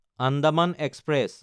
Andaman express